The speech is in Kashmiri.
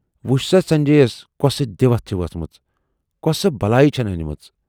وُچھ سا سنجے یَس کۅسہٕ دِوتھ چھِ ؤژھمٕژ، کۅسہٕ بلایہِ چھَن ٲنۍمٕژ۔